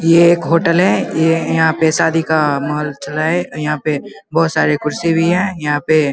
यह एक होटल है ये यहाँ पे शादी का माहौल चला है यहाँ पे बहुत सारे कुर्सी भी हैं यहाँ पे --